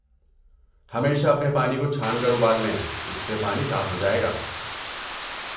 ہمیشہ اپنے پانی کو چھان کر ابال لیں، اس سے پانی صاف ہو جائے گا۔